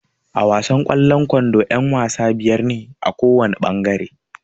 A wasan kwallon ƙwando yan-wasa biyar ne kowana ɓangare.